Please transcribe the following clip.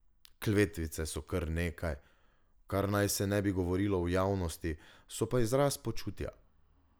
Kletvice so nekaj, kar naj se ne bi govorilo v javnosti, so pa izraz počutja.